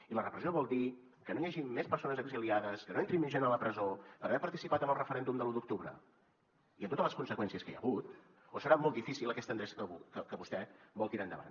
i la repressió vol dir que no hi hagin més persones exiliades que no entri més gent a la presó per haver participat en el referèndum de l’u d’octubre i amb totes les conseqüències que hi ha hagut o serà molt difícil aquesta endreça que vostè vol tirar endavant